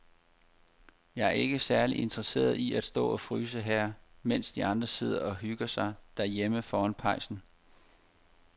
Jeg er ikke særlig interesseret i at stå og fryse her, mens de andre sidder og hygger sig derhjemme foran pejsen.